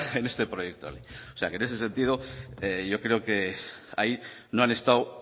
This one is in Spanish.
en este proyecto de ley o sea que en ese sentido yo creo que ahí no han estado